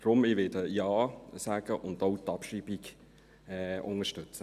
Deshalb werde ich Ja sagen und auch die Abschreibung unterstützen.